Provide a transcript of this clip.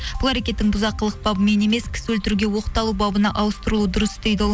бұл әрекеттің бұзақылық бабымен емес кісі өлтіруге оқталу бабына ауыстырылуы дұрыс дейді ол